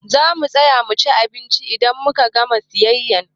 Zamu tsaya muci abinci idan muka gama siyayya.